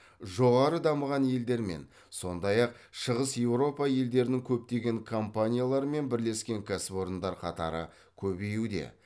жоғары дамыған елдермен сондай ақ шығыс еуропа елдерінің көптеген компанияларымен бірлескен кәсіпорындар қатары көбеюде